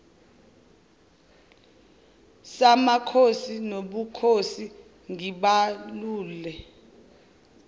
samakhosi nobukhosi ngibalule